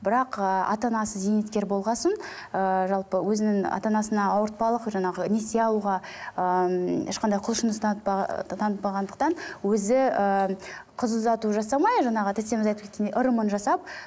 бірақ ыыы ата анасы зейнеткер болған соң ыыы жалпы өзінің ата анасына ауыртпалық жаңағы несие алуға ыыы ешқандай құлшыныс танытпағандықтан өзі ііі қыз ұзату жасамай жаңағы тәтеміз айтып кеткендей ырымын жасап